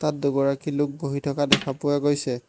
তাত দুগৰাকী লোক বহি থকা দেখা পোৱা গৈছে।